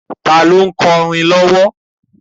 Tani ó ń kọrin lowo?